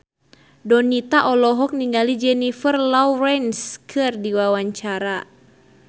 Donita olohok ningali Jennifer Lawrence keur diwawancara